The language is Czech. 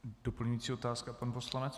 Doplňující otázka pana poslance.